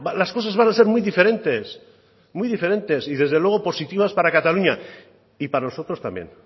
las cosas van a ser muy diferentes muy diferentes y desde luego positivas para cataluña y para nosotros también